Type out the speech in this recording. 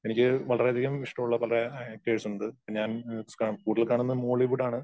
എനിക്ക് വളരെ അധികം ഇഷ്ടമുള്ള പല ആ കേസ് ഉണ്ട്. ഇപ്പോ ഞാൻ കൂടുതൽ കാണുന്നത് മോളിവുഡ് ആണ്.